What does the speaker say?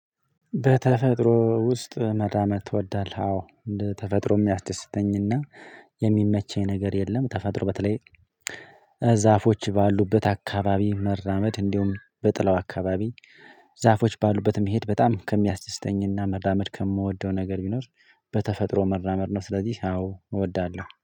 በተፈጥሮ ውስጥ መዳመድ ትወዳለህ? አዎ ተፈጥሮ የሚያስደስተኝና የሚመቸኝ ነገር የለም። ተፈጥሮ በተለይ ዛፎች ባሉበት አካባቢ መራመድ እንዲሁም በጥላው አካባቢ ዛፎች ባሉበት መሄድ በጣም ከሚያስደስተኝና መራመድ ከምወደው ነገር ቢኖር። በተፈጥሮ መራመድ ነው። ስለዚህ አዎ እወዳለሁ